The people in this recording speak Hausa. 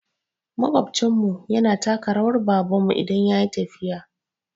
Maƙwabcin mu yana taka rawan baban mu ne idan yayi tafiya